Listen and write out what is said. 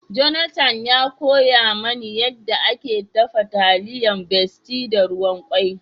Jonathan ya koya ma ni yanda ake dafa taliyar besti da ruwa kawai.